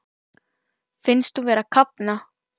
Finnst hún vera að kafna.